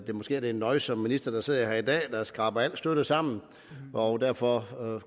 måske er det en nøjsom minister der sidder her i dag der skraber al støtte sammen og derfor